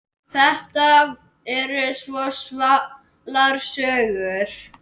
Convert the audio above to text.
Þetta eru svo svalar sögur.